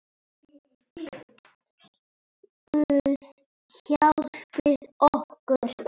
Guð hjálpi okkur.